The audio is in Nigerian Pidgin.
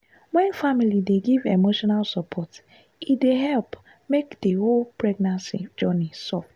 wen family dey give emotional support e dey help make the whole pregnancy journey soft.